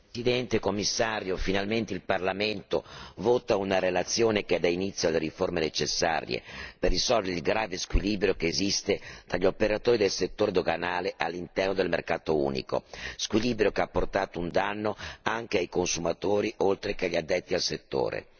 Signora Presidente, signor Commissario, finalmente il Parlamento vota una relazione che dà inizio alle riforme necessarie per risolvere il grave squilibrio esistente fra gli operatori del settore doganale all'interno del mercato unico squilibrio che ha portato un danno, oltre che ai consumatori, anche agli addetti al settore.